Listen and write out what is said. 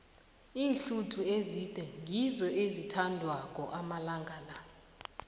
iinhluthu ezide ngizo ezithandwako amalanga la